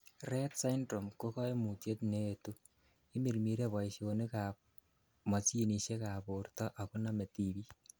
Rett syndrome ko koimutiet neetu, imirmire boisionikab mosinisiekab borto ako nome tibik.